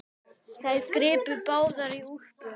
Þær gripu báðar í úlpu